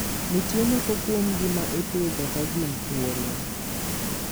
Nitie moko kuomgi ma ipidho ka gin thuolo.